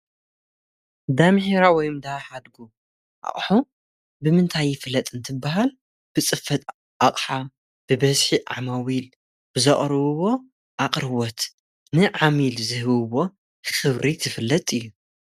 ዳምሒራ ወይም ደሓድጉ ኣቕሑ ብምንታይ ይፍለጥ እንትበሃል ብጽፈት ኣቕሓ ብበዝሒ ዓማዊ ኢሉ እዉን ብዘቕርውዎ ኣቕርወት ን ዓሚል ዝህብዎ ክብሪ ዝፍለጥ እዩ።